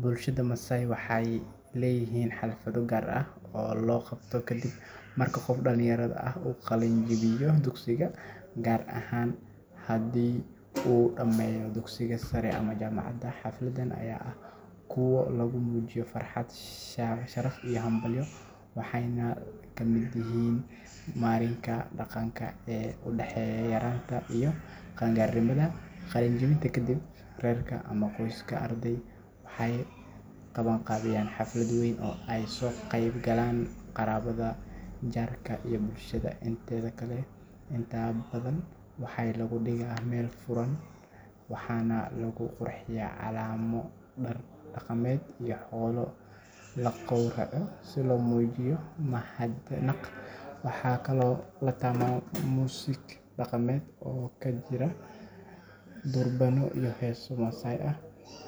Bulshada Maasai waxay leeyihiin xaflado gaar ah oo la qabto kadib marka qof dhallinyaro ah uu ka qalin jebiyo dugsiga, gaar ahaan haddii uu dhammeeyo dugsiga sare ama jaamacadda. Xafladahan ayaa ah kuwo lagu muujiyo farxad, sharaf iyo hambalyo, waxayna la mid yihiin marinka dhaqanka ee u dhexeeya yaraanta iyo qaangaarnimada. Qalinjebinta kadib, reerka ama qoyska ardayga waxay qabanqaabiyaan xaflad weyn oo ay ka soo qayb galaan qaraabada, jaarka, iyo bulshada inteeda kale. Inta badan waxaa lagu dhigaa meel furan, waxaana lagu qurxiyaa calamo, dhar dhaqameed, iyo xoolo la gawraco si loo muujiyo mahadnaq. Waxaa kaloo la tumaa muusig dhaqameed oo ay ku jiraan durbaano iyo heeso Maasai ah,